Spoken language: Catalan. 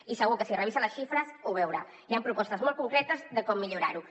i segur que si revisa les xifres ho veurà hi han propostes molt concretes de com millorar ho